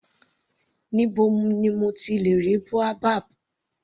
Níbo ni mo ti lè ra boabab.